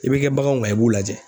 I bɛ kɛ baganw kan i b'u lajɛ.